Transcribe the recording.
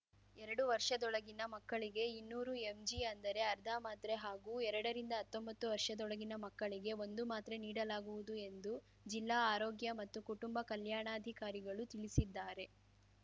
ಎರಡು ವರ್ಷದೊಳಗಿನ ಮಕ್ಕಳಿಗೆ ಇನ್ನೂರು ಎಂಜಿ ಅಂದರೆ ಅರ್ಧ ಮಾತ್ರೆ ಹಾಗೂ ಎರಡರಿಂದ ಹತ್ತೊಂಬತ್ತು ವರ್ಷದೊಳಗಿನ ಮಕ್ಕಳಿಗೆ ಒಂದು ಮಾತ್ರೆ ನೀಡಲಾಗುವುದು ಎಂದು ಜಿಲ್ಲಾ ಆರೋಗ್ಯ ಮತ್ತು ಕುಟುಂಬ ಕಲ್ಯಾಣಾಧಿಕಾರಿಗಳು ತಿಳಿಸಿದ್ದಾರೆ